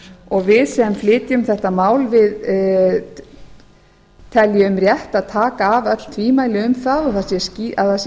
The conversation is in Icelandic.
og við sem flytjum þetta mál teljum rétt að taka af öll tvímæli um að það sé